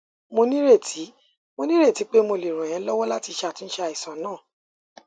mo nírètí mo nírètí pé mo lè ràn ẹ lọwọ láti ṣàtúnṣe àìsàn náà